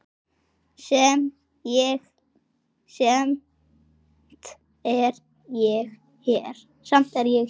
Samt er ég hér.